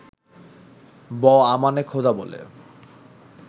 ব-আমানে খোদা বলে